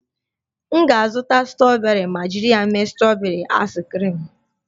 M ga-azụta strọberị ma jiri ya mee strọberị aịs kriim